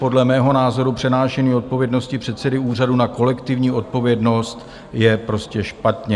Podle mého názoru přenášení odpovědnosti předsedy úřadu na kolektivní odpovědnost je prostě špatně.